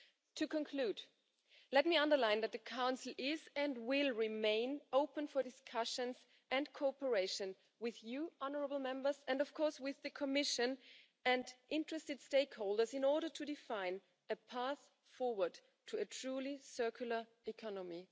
To conclude, let me underline that the Council is and will remain open for discussions and cooperation with you, honourable Members, and of course with the Commission and interested stakeholders, in order to define a path forward to a truly circular economy.